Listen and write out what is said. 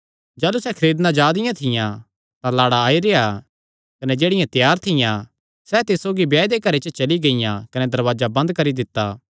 जाह़लू सैह़ खरीदणा जा दियां थियां तां लाड़ा आई रेह्आ कने जेह्ड़ियां त्यार थियां सैह़ तिस सौगी ब्याह दे घरे च चली गियां कने दरवाजा बंद करी दित्ता